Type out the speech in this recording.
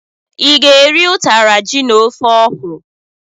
I ga-eri ụtara ji na ofe okwuru?